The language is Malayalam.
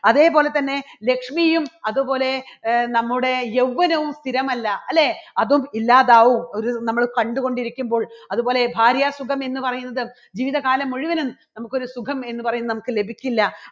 അതേപോലെതന്നെ ലക്ഷ്മിയും അതുപോലെ നമ്മുടെ യൗവ്വനവും സ്ഥിരമല്ല അല്ലേ അതും ഇല്ലാതാകും. ഒരു നമ്മൾ കണ്ടുകൊണ്ടിരിക്കുമ്പോൾ അതുപോലെ ഭാര്യ സുഖം എന്ന് പറയുന്നത് ജീവിതകാലം മുഴുവനും നമുക്ക് ഒരു സുഖം എന്ന് പറയുന്നത് നമുക്ക് ലഭിക്കില്ല.